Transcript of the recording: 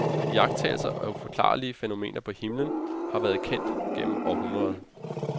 Iagttagelser af uforklarlige fænomener på himlen har været kendt gennem århundreder.